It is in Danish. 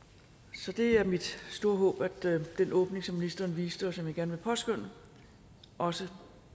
så det er mit store håb at den åbning som ministeren viste og som jeg gerne vil påskønne også